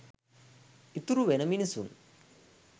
ඉතුරුවෙන මිනිසුන්